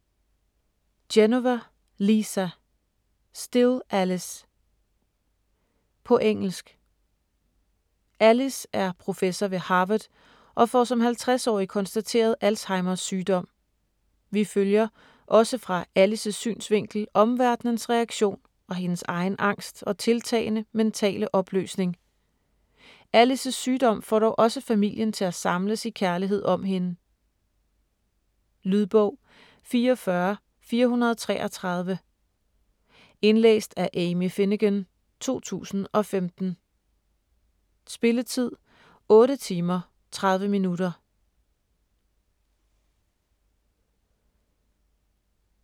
Genova, Lisa: Still Alice På engelsk. Alice er professor ved Harvard og får som 50-årig konstateret Alzheimers sygdom. Vi følger, også fra Alice's synsvinkel, omverdenens reaktion og hendes egen angst og tiltagende mentale opløsning. Alice's sygdom får dog også familien til at samles i kærlighed om hende. Lydbog 44433 Indlæst af Amy Finegan, 2015. Spilletid: 8 timer, 30 minutter.